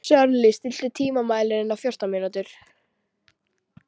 Sörli, stilltu tímamælinn á fjórtán mínútur.